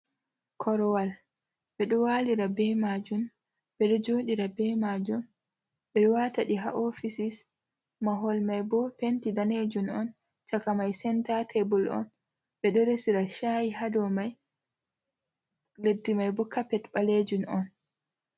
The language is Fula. Korwal, ɓe ɗo walira be majum, ɓe ɗo jooɗira be majum, ɓe ɗo wata ɗe ha ofisis. Mahol mai bo penti daneejun on, caka mai senta tebul on. Ɓe ɗo resira shayi ha dou mai. Leddi mai bo kapet ɓaleejun on.